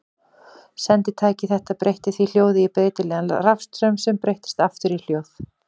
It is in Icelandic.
Senditæki þetta breytti því hljóði í breytilegan rafstraum sem breyttist aftur í hljóð.